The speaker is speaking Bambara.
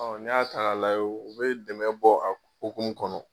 n'i y'a ta k'a lajɛ, o bɛ dɛmɛ bɔ a hukumu kɔnɔ.